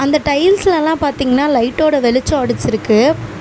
அந்த டைல்ஸ்லெல்லா பாத்தீங்ன்னா லைட்டோட வெளிச்சோ அடிச்சிருக்கு.